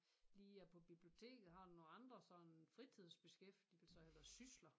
Lige er på biblioteket har du nogle andre sådan fritidsbeskæftigelser eller sysler?